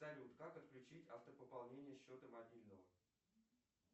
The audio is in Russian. салют как отключить автопополнение счета мобильного